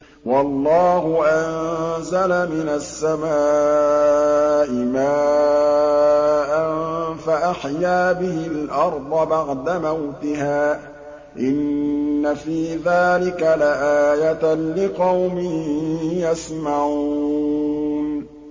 وَاللَّهُ أَنزَلَ مِنَ السَّمَاءِ مَاءً فَأَحْيَا بِهِ الْأَرْضَ بَعْدَ مَوْتِهَا ۚ إِنَّ فِي ذَٰلِكَ لَآيَةً لِّقَوْمٍ يَسْمَعُونَ